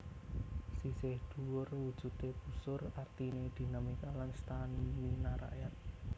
Sisih dhuwur wujudé busur artiné dinamika lan stamina rakyat